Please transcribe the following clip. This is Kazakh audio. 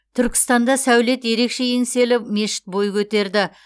түркістанда сәулеті ерекше еңселі мешіт бой көтерді